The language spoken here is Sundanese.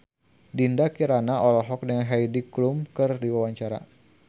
Dinda Kirana olohok ningali Heidi Klum keur diwawancara